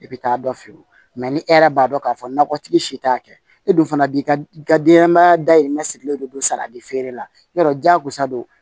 I bɛ taa dɔ feere o mɛ ni e yɛrɛ b'a dɔn k'a fɔ nakɔtigi si t'a kɛ e dun fana b'i ka denɲɛnmaya dahirimɛ sigilen don saridi feere la diyagosa don